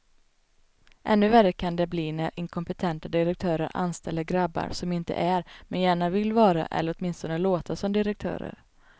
Ännu värre kan det bli när inkompetenta direktörer anställer grabbar som inte är, men gärna vill vara eller åtminstone låta som direktörer.